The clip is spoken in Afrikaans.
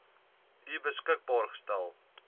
u beskikbaar gestel